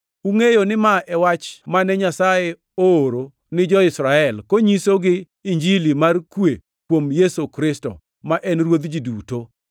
Ungʼeyo ni ma e wach mane Nyasaye ooro ni jo-Israel, konyisogi Injili mar kwe kuom Yesu Kristo, ma en Ruodh ji duto.